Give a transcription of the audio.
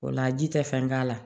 O la ji tɛ fɛn k'a la